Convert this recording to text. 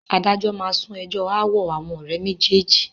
Adájọ́ máa sún ẹjọ́ ááwọ̀ àwọn ọ̀rẹ́ méjèèjì